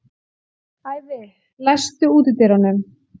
Ævi, læstu útidyrunum.